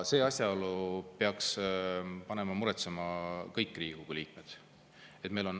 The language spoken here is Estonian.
See asjaolu peaks panema muretsema kõik Riigikogu liikmed.